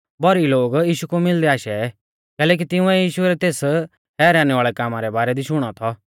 भौरी लोग यीशु कु मिलदै आशै कैलैकि तिंउऐ यीशु रै तेस हैरानी वाल़ै कामा रै बारै दी शुणौ थौ